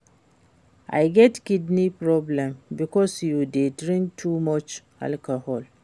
You get kidney problem because you dey drink too much alcohol